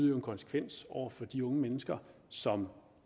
en konsekvens over for de unge mennesker som